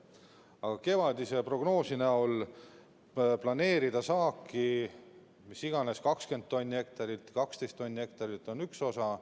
Aga kevadise prognoosi näol planeerida saaki, mis iganes, 20 tonni hektarilt, 12 tonni hektarilt, on üks osa.